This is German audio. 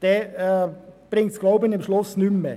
Dann bringt es schliesslich nichts mehr.